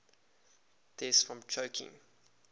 deaths from choking